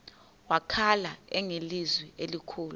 wakhala ngelizwi elikhulu